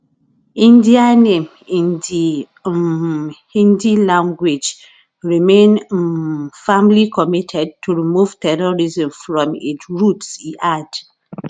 [india name in di um hindi language] remain um firmly committed to remove terrorism from id roots e add